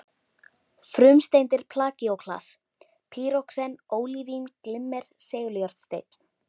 Frumsteindir plagíóklas, pýroxen, ólívín, glimmer seguljárnsteinn